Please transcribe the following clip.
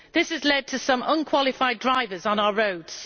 This has led to some unqualified drivers on our roads.